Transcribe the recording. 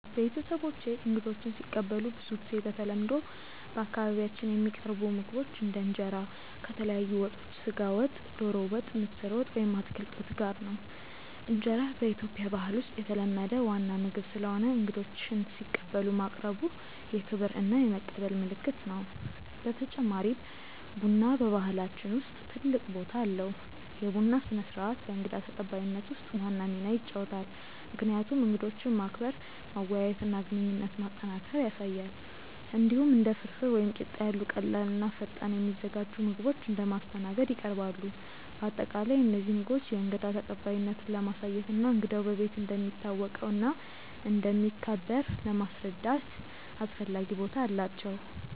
ቤተሰቦቼ እንግዶችን ሲቀበሉ ብዙ ጊዜ በተለምዶ በአካባቢያችን የሚቀርቡ ምግቦች እንደ እንጀራ ከተለያዩ ወጦች (ስጋ ወጥ፣ ዶሮ ወጥ፣ ምስር ወጥ ወይም አትክልት ወጥ) ጋር ነው። እንጀራ በኢትዮጵያ ባህል ውስጥ የተለመደ ዋና ምግብ ስለሆነ እንግዶችን ሲቀበሉ ማቅረቡ የክብር እና የመቀበል ምልክት ነው። በተጨማሪም ቡና በባህላችን ውስጥ ትልቅ ቦታ አለው፤ የቡና ስነ-ስርዓት በእንግዳ ተቀባይነት ውስጥ ዋና ሚና ይጫወታል፣ ምክንያቱም እንግዶችን ማክበር፣ መወያየት እና ግንኙነት ማጠናከር ያሳያል። እንዲሁም እንደ ፍርፍር ወይም ቂጣ ያሉ ቀላል እና ፈጣን የሚዘጋጁ ምግቦች እንደ ማስተናገድ ይቀርባሉ። በአጠቃላይ እነዚህ ምግቦች የእንግዳ ተቀባይነትን ለማሳየት እና እንግዳው በቤት እንደሚታወቀው እና እንደሚከበር ለማስረዳት አስፈላጊ ቦታ አላቸው።